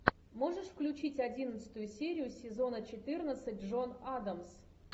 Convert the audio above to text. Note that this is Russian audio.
можешь включить одиннадцатую серию сезона четырнадцать джон адамс